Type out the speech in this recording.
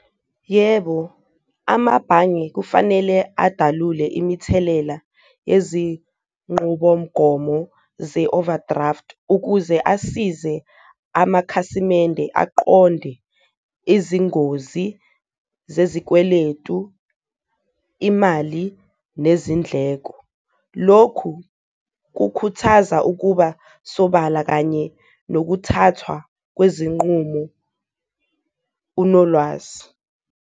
Yebo, amabhange kufanele adalule imithelela yezinqubomgomo ze-overdraft ukuze asize amakhasimende aqonde izingozi zezikweletu, imali nezindleko. Lokhu kukhuthaza ukuba sobala kanye nokuthathwa kwezinqumo unolwazi.